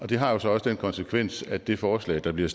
det har så også den konsekvens at det forslag der bliver